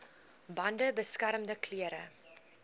bande beskermende klere